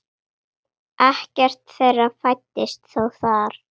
Ekkert þeirra fæddist þó þar.